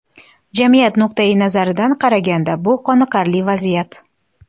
Jamiyat nuqtayi nazaridan qaraganda, bu qoniqarli vaziyat.